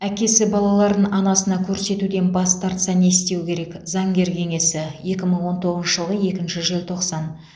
әкесі балаларын анасына көрсетуден бас тартса не істеу керек заңгер кеңесі екі мың он тоғызыншы жылғы екінші желтоқсан